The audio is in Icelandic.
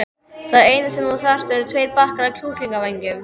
Það eina sem þú þarft eru tveir bakkar af kjúklingavængjum.